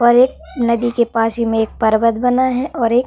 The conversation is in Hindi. और एक नदी के पास ही में एक पर्वत बना है और एक --